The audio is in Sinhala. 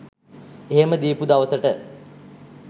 එහෙම දීපු දවසට